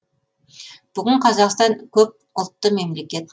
бүгін қазақстан көп ұлтты мемлекет